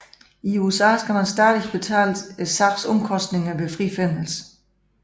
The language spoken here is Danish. I USA skal man stadig betale sagens omkostninger ved frifindelse